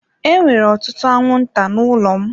Enwere ọtụtụ anwụnta n'ụlọ m.